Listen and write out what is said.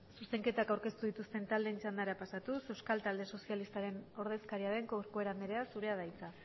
zuzenketa aurkeztu dituzten taldeen txandara pasatuz euskal talde sozialistaren ordezkaria den corcuera andrea zurea da hitza